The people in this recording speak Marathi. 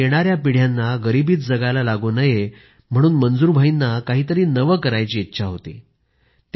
पण आपल्या येणाऱ्या पिढयांना गरीबीत जगायला लागू नये म्हणून मंजूर भाईंना काहीतरी नवे करायची इच्छा होती